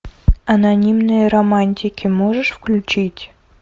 анонимные романтики можешь включить